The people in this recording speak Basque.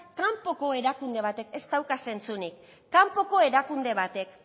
kanpoko erakunde batek ez dauka zentzurik kanpoko erakunde batek